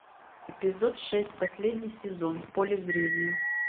эпизод шесть последний сезон в поле зрения